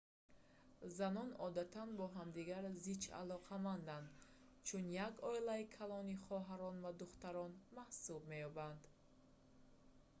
занон одатан бо ҳамдигар зич алоқаманданд чун як оилаи калони хоҳарон ва духтарон маҳсуб меёбанд